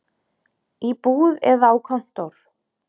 Í búð eða á kontór.